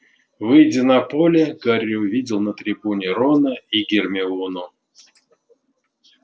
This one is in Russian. выйдя на поле гарри увидел на трибуне рона и гермиону